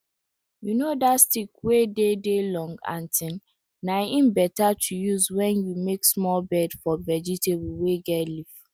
you know that stick wey dey dey long and tin na em better to use when you make small bed for vegetables wey get leaf